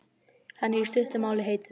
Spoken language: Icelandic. Hann er, í stuttu máli, heitur.